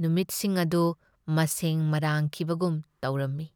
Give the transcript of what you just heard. ꯅꯨꯃꯤꯠꯁꯤꯡ ꯑꯗꯨ ꯃꯁꯦꯡ ꯃꯔꯥꯡꯈꯤꯕꯒꯨꯝ ꯇꯧꯔꯝꯃꯤ꯫